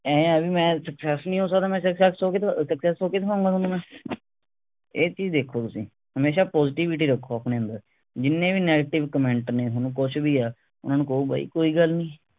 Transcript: ਆਏਂ ਹੈ ਵੀ ਮੈਂ ਇਸ ਚ success ਨਹੀਂ ਹੋ ਸਕਦਾ ਮੈਂ success ਹੋਕੇ ਅਹ success ਹੋਕੇ ਦਿਖਾਉਗਾ ਥੋਨੂੰ ਮੈਂ ਇਹ ਚੀਜ ਦੇਖੋ ਤੁਸੀਂ ਹਮੇਸ਼ਾ positivity ਰੱਖੋ ਆਪਣੇ ਅੰਦਰ ਜਿੰਨੇ ਵੀ negative comment ਨੇ ਥੋਨੂੰ ਕੁਸ਼ ਵੀ ਆ ਓਹਨੂੰ ਕਹੋ ਬਈ ਕੋਈ ਗੱਲ ਨਹੀਂ